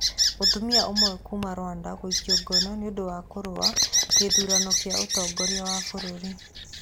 Mũtumia ũmwe kuuma Rwanda gũikio ngono nĩ ũndũ wa kũrũa gĩthurano kĩa ũtongoria wa bũrũri